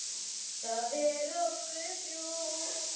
Það er ósköp ljúft.